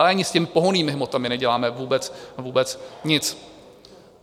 Ale ani s těmi pohonnými hmotami neděláme vůbec nic.